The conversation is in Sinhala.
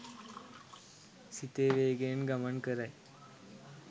සිතේ වේගයෙන් ගමන් කරයි.